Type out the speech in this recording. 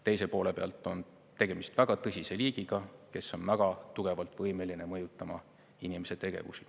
Teise poole pealt on tegemist väga tõsise liigiga, kes on väga tugevalt võimeline mõjutama inimese tegevusi.